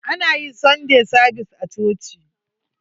Ana yin sunday savis a coci.